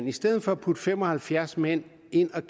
i stedet for at putte fem og halvfjerds mænd ind at